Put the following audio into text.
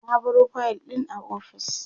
na baro fayil ɗin a ofis